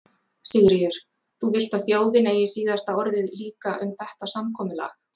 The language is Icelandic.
Sigríður: Þú vilt að þjóðin eigi síðasta orðið líka um þetta samkomulag?